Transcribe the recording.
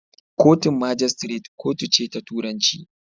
Kotun magistrate kotu ce ta turanci.